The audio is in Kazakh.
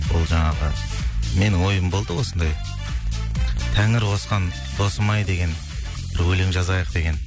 ол жаңағы мен ойым болды осындай тәңір қосқан досым ай деген бір өлең жазайық деген